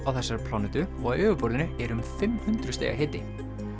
á þessari plánetu og á yfirborðinu er um fimm hundruð stiga hiti